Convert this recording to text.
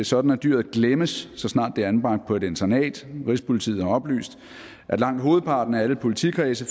sådan at dyret glemmes så snart det er anbragt på et internat rigspolitiet har oplyst at langt hovedparten af alle politikredse